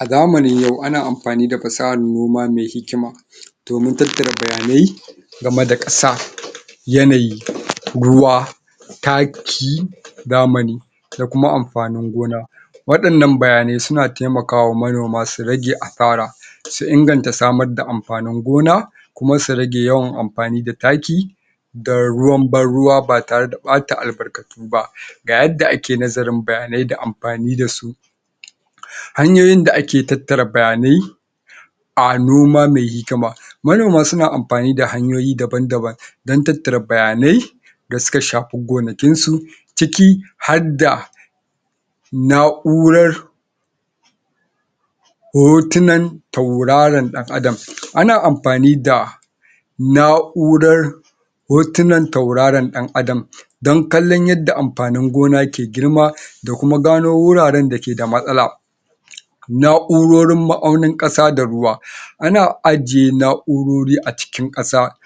A zamanin yau ana amfani da fasahar noma me hikima domin tattara bayanai game da ƙasa yanayi, ruwa, taki zamani da kuma amfanin gona waɗannan bayanai suna taimakawa manoma su rage asara su inganta samar da amfanin gona kuma su rage yawan amfani da taki da ruwan ban ruwa ba tare da ɓata albarkatu ba ga yadda ake nazarin bayanai da amfani da su hanyoyin da ake tattara bayanai a noma me hikima manoma suna amfani da hanyoyi daban-daban dan tattara bayanai da suka shafi gonakin su ciki har da na'urar hotunan tauraron ɗan'adam. Ana amfani da na'urar hotunan tauraron ɗan'adam dan kallon yadda amfanin gona ke girma da kuma gano wuraren da ke da matsala na'urorin ma'aunin ƙasa da ruwa ana ajiye na'urori a cikin ƙasa